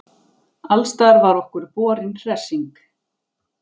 Alstaðar var okkur borin hressing.